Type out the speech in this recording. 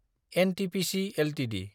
NTPC Ltd